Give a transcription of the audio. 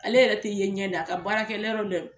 Ale yɛrɛ tɛ yen ɲɛ na a ka baarakɛ yɔrɔ dɛ